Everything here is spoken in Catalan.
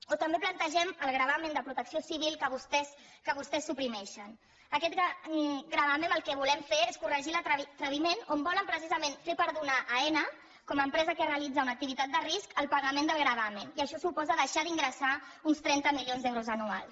o també plantegem el gravamen de protecció civil que vostès suprimeixen amb aquest gravamen el que volem fer és corregir l’atreviment on volen precisament fer perdonar a aena com a empresa que realitza una activitat de risc el pagament del gravamen i això suposa deixar d’ingressar uns trenta milions d’euros anuals